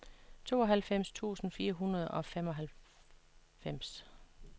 tooghalvfems tusind fire hundrede og femoghalvfems